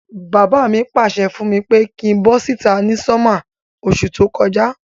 Bàbá mi pàsẹ fùn mi pe kin bo síta ni summer osú to kojá